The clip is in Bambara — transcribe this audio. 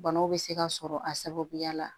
Banaw bɛ se ka sɔrɔ a sababuya la